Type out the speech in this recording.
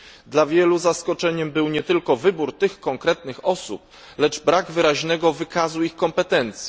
Dla wielu zaskoczeniem był nie tylko wybór tych konkretnych osób, lecz brak wyraźnego wykazu ich kompetencji.